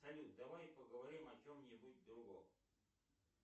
салют давай поговорим о чем нибудь другом